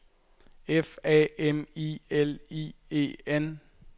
F A M I L I E N